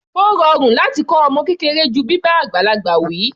Ó rọrùn láti kọ́ ọmọ kékeré ju bíbá àgbàlagbà wi.